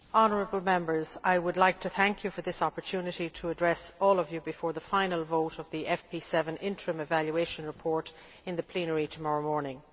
Madam President, honourable Members, I would like to thank you for this opportunity to address all of you before the final vote on the FP7 interim evaluation report in plenary tomorrow morning.